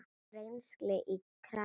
Rennsli í krana!